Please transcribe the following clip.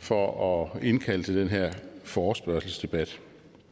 for at indkalde til den her forespørgselsdebat